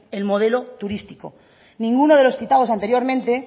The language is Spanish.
el modelo turístico ninguno de los citados anteriormente